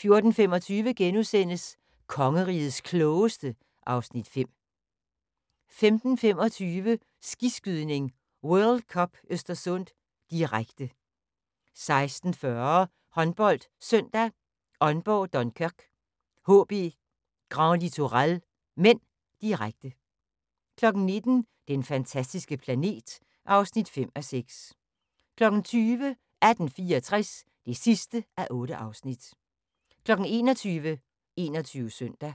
* 14:25: Kongerigets Klogeste (Afs. 5)* 15:25: Skiskydning: World Cup Östersund, direkte 16:40: HåndboldSøndag: Aalborg-Dunkerque HB Grand Littoral (m), direkte 19:00: Den fantastiske planet (5:6) 20:00: 1864 (8:8) 21:00: 21 Søndag